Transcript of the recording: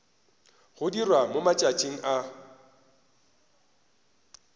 go dirwa mo matšatšing a